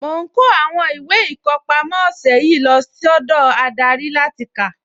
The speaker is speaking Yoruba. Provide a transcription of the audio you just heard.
Mo ń kó àwọn ìwé ìkọpámọ́ ọ̀sẹ̀ yìí lọ sọ́dọ̀ adarí láti kà